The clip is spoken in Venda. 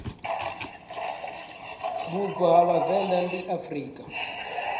vhubvo ha vhavenḓa ndi afrika